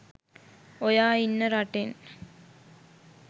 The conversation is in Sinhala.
ඔයා ඉන්න රටෙන්